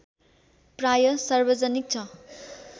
प्रायः सार्वजनिक छ